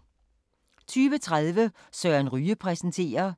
20:30: Søren Ryge præsenterer